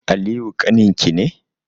Aliyu ƙaninki ne?